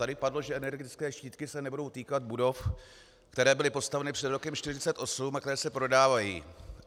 Tady padlo, že energetické štítky se nebudou týkat budov, které byly postaveny před rokem 1948 a které se prodávají.